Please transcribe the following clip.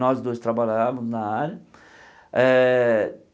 Nós dois trabalhávamos na área. Eh